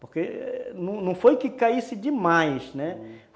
Porque não foi que caísse demais, né?